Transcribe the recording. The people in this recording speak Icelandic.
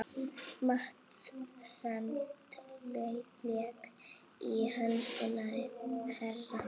Matseld lék í höndum hennar.